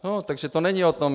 Takže to není o tom.